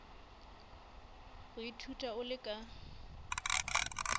go ithuta o le ka